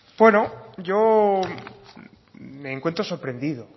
bueno yo me encuentro sorprendido